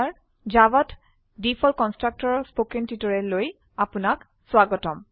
জাভাত default constructor ৰ spoken টিউটোৰিয়েলৈ আপনাক স্বাগতম